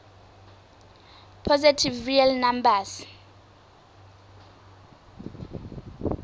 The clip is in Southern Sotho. positive real numbers